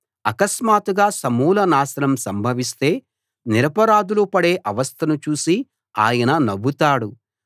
ఆకస్మాత్తుగా సమూల నాశనం సంభవిస్తే నిరపరాధులు పడే అవస్థను చూసి ఆయన నవ్వుతాడు